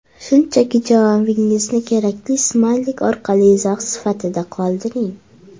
Shunchaki javobingizni kerakli smaylik orqali izoh sifatida qoldiring!